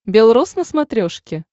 бел рос на смотрешке